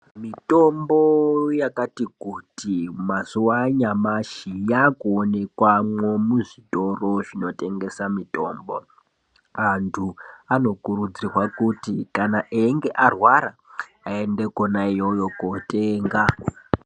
Mitombo yakati kuti mazuwa anyamashi yakuwonekwamwo muzvitoro zvinotengesa mitombo. Antu anokurudzirwa kuti eyinge arwara aende ikona iyoyo kotenga.